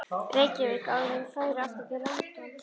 Reykjavík, áður en þau færu aftur til London.